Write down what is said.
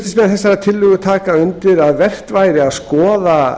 flutningsmenn þessarar tillögu taka undir að vert væri að skoða